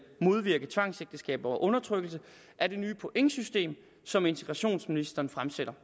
modvirke tvangsægteskaber og undertrykkelse er det nye pointsystem som integrationsministeren fremsætter